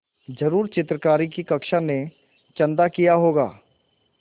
ज़रूर चित्रकारी की कक्षा ने चंदा किया होगा